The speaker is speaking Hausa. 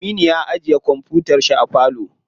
Aminu ya ajiye kwamfutar shi a falo.